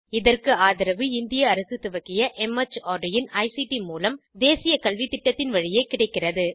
இதற்கு ஆதரவு இந்திய அரசு துவக்கிய மார்ட் இன் ஐசிடி மூலம் தேசிய கல்வித்திட்டத்தின் வழியே கிடைக்கிறது